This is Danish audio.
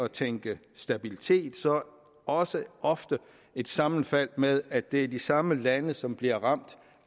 tænke stabilitet også ofte sammenfaldende med at det er de samme lande som bliver ramt